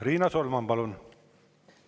Riina Solman, palun!